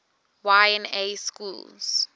y na schools